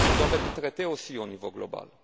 qui doivent être traités aussi au niveau global.